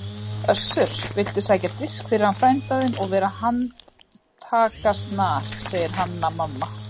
Össur, viltu sækja disk fyrir hann frænda þinn og vera handtakasnar, sagði Hanna-Mamma.